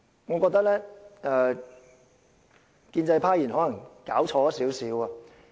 我覺得建制派議員可能弄錯了甚麼。